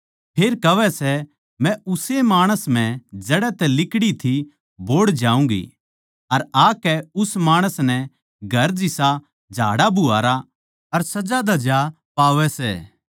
फेर कहवै सै मै उस्से माणस म्ह जड़ै तै लिकड़ी थी बोहड़ जाऊँगी अर आकै उस माणस नै घर जिसा झाड़ाबुहारा अर सजाधज्या पावै सै